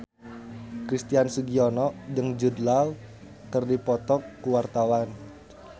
Christian Sugiono jeung Jude Law keur dipoto ku wartawan